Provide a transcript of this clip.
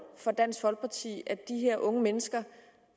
for dansk folkeparti at de her unge mennesker